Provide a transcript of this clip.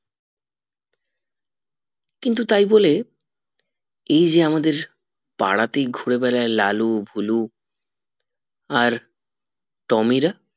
কিন্তু তাই বলে এই যে আমাদের পাড়াতেই ঘুরে বেড়াই লালু ভোলু আর টমিরা